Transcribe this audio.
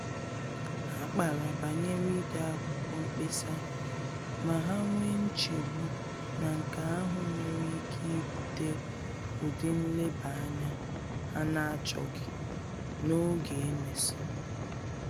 Ha kpara banyere ide akwụkwọ mkpesa, ma ha nwee nchegbu na nke ahụ nwere ike ibute ụdị nleba-anya ha na-achọghị n’oge e mesịrị